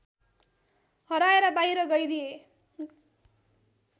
हराएर बाहिर गरिदिए